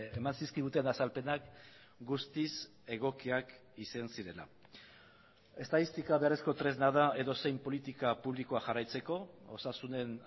eman zizkiguten azalpenak guztiz egokiak izan zirela estatistika beharrezko tresna da edozein politika publikoa jarraitzeko osasunen